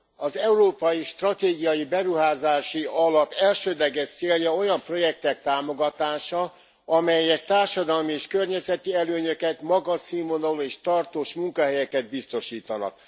Az Európai Stratégiai Beruházási Alap elsődleges célja olyan projektek támogatása, amelyek társadalmi és környezeti előnyöket, magas színvonalú és tartós munkahelyeket biztosítanak.